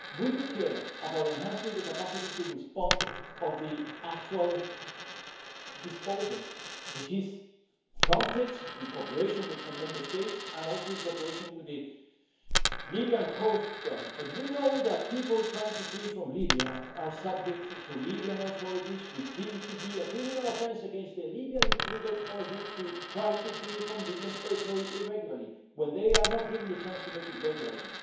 We care about enhancing the capacity to respond of the actual agency, which is Frontex in cooperation with some Member States and also in cooperation with the Libyan coastguard, but we know that people trying to flee from Libya are subject to the Libyan authorities, which deem it to be a criminal offence against the Libyan legal order to try to flee from Libyan territory irregularly when they are not given the chance to make it regularly.